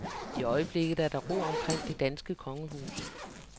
I øjeblikket er der ro omkring det danske kongehus.